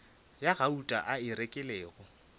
ya gauta a e rekilego